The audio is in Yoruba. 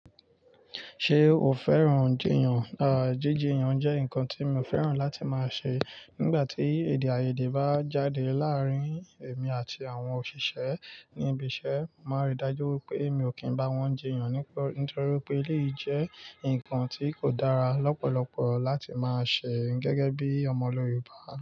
Ṣé o fẹ́ràn jíyàn? À, jíjìyàn jẹ́ nǹkan tí mi ò fẹ́ràn láti máa ṣe. Nígbà tí èdèàìyedè bá jáde láàárín èmi àti àwọn òṣìṣẹ́ ní ibi iṣẹ́, màá rí i dájú wípé mi ò kí ń bá wọn jíyàn nítorí pé eléyìí jẹ́ nǹkan tí kò dára lọ́pọ̀lọpọ̀ láti máa ṣe gẹ́gẹ́ bí ọmọ Yorùbá.